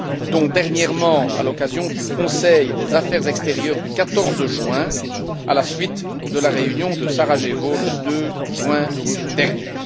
y compris dernièrement, à l'occasion du Conseil des affaires extérieures du 14 juin, à la suite de la réunion de Sarajevo, le 2 juin dernier.